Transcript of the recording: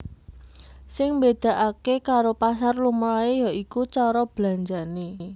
Sing mbedakake karo pasar lumrahe ya iku cara belanjane